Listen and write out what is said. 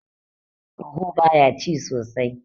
ruaho baya ci sosai